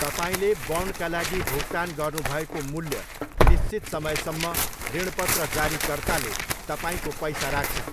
तपाईँले बन्डका लागि भुक्तान गर्नुभएको मूल्य निश्चित समयसम्म ऋणपत्र जारीकर्ताले तपाईँको पैसा राख्छ।